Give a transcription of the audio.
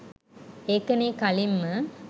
ඒකනේ කලින්ම